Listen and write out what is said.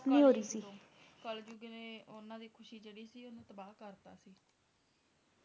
ਕਲਜੁਗ ਨੇ ਉਨ੍ਹਾਂ ਦੀ ਖੁਸ਼ੀ ਜਿਹੜੀ ਸੀ ਓਹਨੂੰ ਤਬਾਹ ਕਰਤਾ